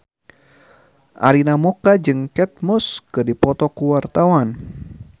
Arina Mocca jeung Kate Moss keur dipoto ku wartawan